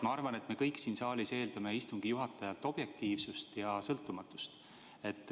Ma arvan, et me kõik siin saalis eeldame istungi juhatajalt objektiivsust ja sõltumatust.